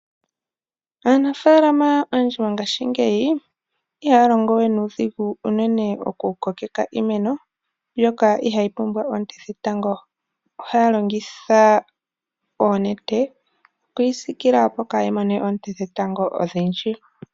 Aanafalama yongaashingeyi ihaya longowe nuudhigu okukokeka iimeno mbyoka ihayi pumbwa oonte dhetango odhindji ohaya longitha oonete okuyisilila, opo kayi mone oonte dhetango odhindji.